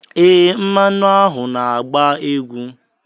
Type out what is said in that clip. Ee, mmanu ahụ na-agba egwu.